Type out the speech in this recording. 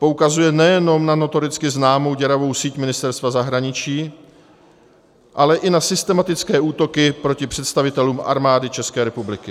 Poukazuje nejenom na notoricky známou děravou síť Ministerstva zahraničí, ale i na systematické útoky proti představitelům Armády České republiky.